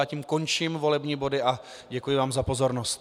Já tím končím volební body a děkuji vám za pozornost.